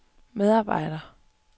medarbejder